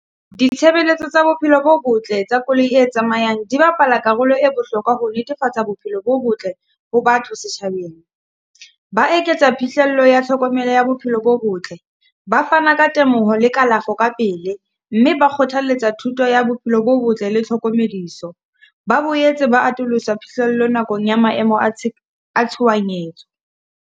Ditshebeletso tsa bophelo bo botle tsa koloi e tsamayang di bapala karolo e bohlokwa ho netefatsa bophelo bo botle ho batho setjhabeng. Ba eketsa phihlello ya tlhokomelo ya bophelo bo botle, ba fana ka temoho le kalafo ka pele, mme ba kgothalletsa thuto ya bophelo bo botle le tlhokomediso. Ba boetse ba atolosa phihlello nakong ya maemo a a tshohanyetso.